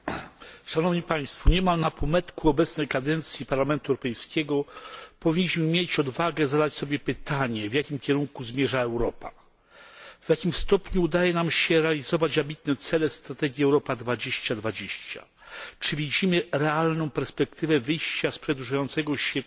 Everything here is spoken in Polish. Niemal na półmetku obecnej kadencji Parlamentu Europejskiego powinniśmy mieć odwagę zadać sobie pytanie, w jakim kierunku zmierza Europa, w jakim stopniu udaje nam się realizować ambitne cele strategii Europa 2020, czy widzimy realną perspektywę wyjścia z przedłużającego się kryzysu finansowego,